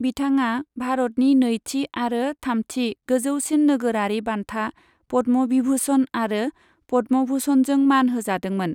बिथांआ भारतनि नैथि आरो थामथि गोजौसिन नोगोरारि बान्था पद्म बिभुषन आरो पद्म भुषनजों मान होजादोंमोन।